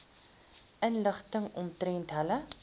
inligting omtrent julle